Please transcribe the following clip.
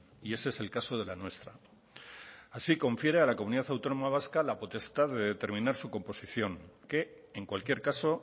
y ese es el caso de la nuestra así confiere a la comunidad autónoma vasca la potestad de determinar su composición que en cualquier caso